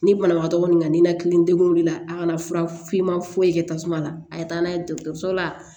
Ni banabagatɔ nana nin na tile degunna a kana fura f'i ma foyi kɛ tasuma la a ye taa n'a ye dɔgɔtɔrɔso la